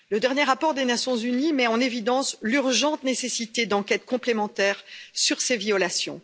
Le dernier rapport des Nations unies met en évidence l'urgente nécessité d'enquêtes complémentaires sur ces violations.